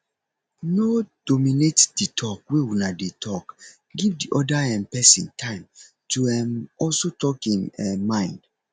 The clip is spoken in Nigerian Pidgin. no dominate di talk wey una dey talk give di oda um person time to um also talk im um mind